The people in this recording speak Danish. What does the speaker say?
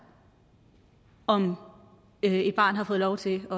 om et barn har fået lov til at